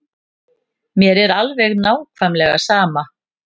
Mér er alveg nákvæmlega sama.